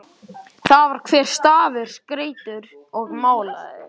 Þar var hver stafur skreyttur og málaður.